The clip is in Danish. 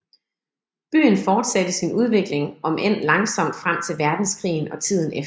Byen fortsatte sin udvikling om end langsomt frem til verdenskrigen og tiden efter